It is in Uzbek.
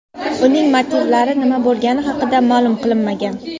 Uning motivlari nima bo‘lgani haqida ma’lum qilinmagan.